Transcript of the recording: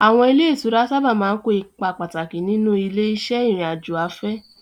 Àwọn ilé ìtura sábà máa ń kó ipa pàtàkì nínú ilé-iṣẹ́ ìrìn-àjò afẹ́.